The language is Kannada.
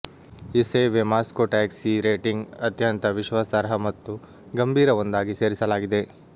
ಈ ಸೇವೆ ಮಾಸ್ಕೋ ಟ್ಯಾಕ್ಸಿ ರೇಟಿಂಗ್ ಅತ್ಯಂತ ವಿಶ್ವಾಸಾರ್ಹ ಮತ್ತು ಗಂಭೀರ ಒಂದಾಗಿ ಸೇರಿಸಲಾಗಿದೆ